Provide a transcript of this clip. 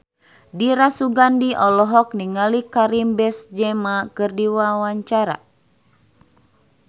Dira Sugandi olohok ningali Karim Benzema keur diwawancara